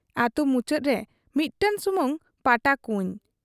ᱟᱹᱛᱩ ᱢᱩᱪᱟᱹᱫ ᱨᱮ ᱤᱫᱴᱟᱹᱝ ᱥᱩᱢᱩᱝ ᱯᱟᱴᱟ ᱠᱩᱸᱭ ᱾